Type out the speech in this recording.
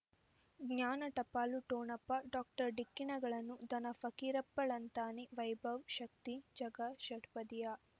ಜ್ಞಾನ ಟಪಾಲು ಠೊಣಪ ಡಾಕ್ಟರ್ ಢಿಕ್ಕಿ ಣಗಳನು ಧನ ಫಕೀರಪ್ಪ ಳಂತಾನೆ ವೈಭವ್ ಶಕ್ತಿ ಝಗಾ ಷಟ್ಪದಿಯ